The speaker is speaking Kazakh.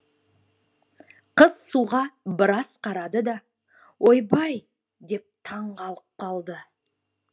қыз суға біраз қарады да ойбай деп таң қалып қалды